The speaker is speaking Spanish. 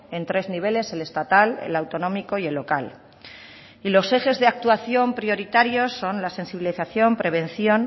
en tres niveles el estatal el autonómico y el local y los ejes de actuación prioritarios son la sensibilización prevención